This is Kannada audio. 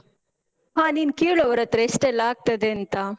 ಹಾ ನೀನ್ ಕೇಳ್ ಅವ್ರ್ ಹತ್ರ ಎಷ್ಟೆಲ್ಲ ಆಗ್ತದೇಂತ?